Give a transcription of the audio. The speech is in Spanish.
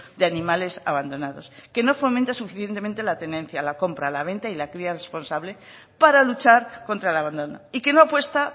de animales abandonados que no fomente suficientemente la tenencia la compra la venta y la cría responsable para luchar contra el abandono y que no apuesta